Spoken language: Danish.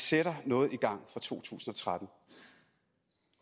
sætter noget i gang fra to tusind og tretten